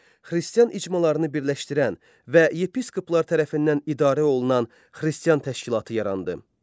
Xristian icmalarını birləşdirən və yepiskoplar tərəfindən idarə olunan Xristian təşkilatı yarandı.